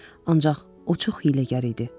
Ancaq o çox hiyləgər idi.